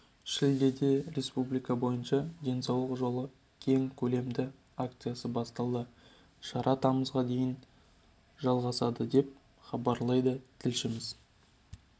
шілдеде республика бойынша денсаулық жолы кең көлемді акциясы басталды шара тамызға дейін жалғасады деп хабарлайды тілшісі